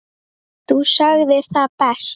Þú sagðir það best.